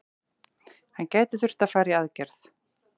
Hann gæti þurft að fara í aðgerð.